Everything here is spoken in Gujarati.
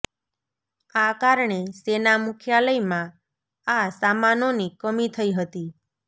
આ કારણે સેના મુખ્યાલયમાં આ સામાનોની કમી થઈ હતી